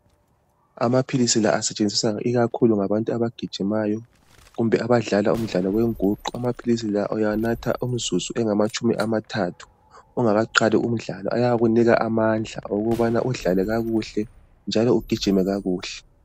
Amaphilisi la asetshenziswa ikakhulu ngabantu abagijimayo kumbe abadlala umdlalo yenguqu. Amaphilisi la anathwa kusele imizuzu engamatshumi amathathu, ungakaqali umdlalo. Ayakunika amandla okuthi udlale kakuhle, njalo ugijime kakuhle.